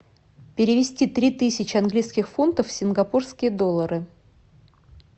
перевести три тысячи английских фунтов в сингапурские доллары